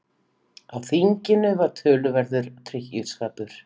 Á þinginu var töluverður drykkjuskapur.